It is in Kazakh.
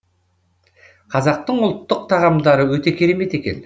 қазақтың ұлттық тағамдары өте керемет екен